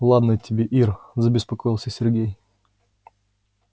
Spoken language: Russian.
ладно тебе ир забеспокоился сергей